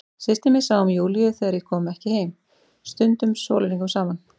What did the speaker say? Systir mín sá um Júlíu þegar ég kom ekki heim, stundum sólarhringum saman.